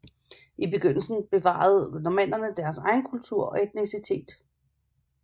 I begyndelsen bevarede normannerne deres egen kultur og etnicitet